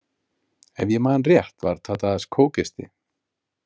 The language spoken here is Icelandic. Ef ég man rétt var Tadas kókisti.